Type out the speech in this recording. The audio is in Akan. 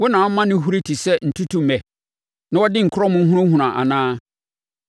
Wo na woma no huri te sɛ ntutummɛ, na ɔde ne nkorɔmo hunahuna anaa?